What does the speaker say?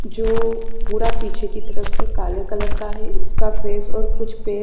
जो पूरा पीछे की तरफ से काले कलर का है इसका फेस और कुछ पैर --